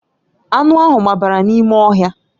Anụ ahụ gbabara n'ime ọhịa